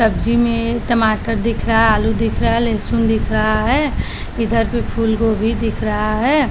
सब्जी में टमाटर दिख रहा आलू दिख रहा लहसुन दिख रहा है इधर भी फूल गोभी दिख रहा है।